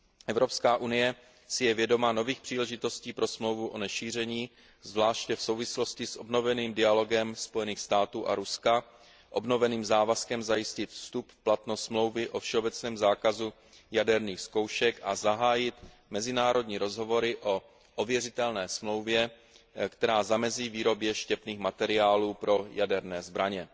Evropská unie si je vědoma nových příležitostí pro Smlouvu o nešíření, zvláště v souvislosti s obnoveným dialogem USA Rusko, obnoveným závazkem zajistit vstup v platnost Smlouvy o všeobecném zákazu jaderných zkoušek a zahájit mezinárodní rozhovory o ověřitelné smlouvě, která zamezí výrobě štěpných materiálů pro jaderné zbraně.